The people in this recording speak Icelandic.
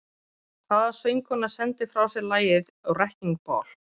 Hvaða söngkona sendi frá sér lagið “Wrecking Ball”?